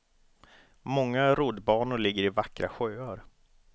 Många roddbanor ligger i vackra sjöar.